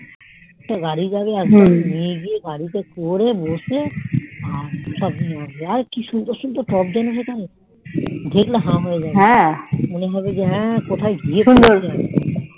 কোনো গড়ি থ্রি আছে নিয়ে গেলে ওরে বসে সব গাছ কি সুন্দর সুন্দর কক হতো জানতো দেখলে হা হয়ে যাবে হ্যান মনেহবে কোথাও গিয়েছিলাম